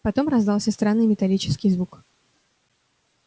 потом раздался странный металлический зувук